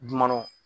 Dɔnɔ